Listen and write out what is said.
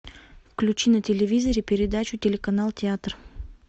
включи на телевизоре передачу телеканал театр